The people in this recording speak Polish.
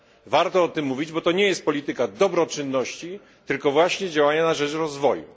Warto o tym mówić, bo to nie jest polityka dobroczynności, tylko właśnie działania na rzecz rozwoju.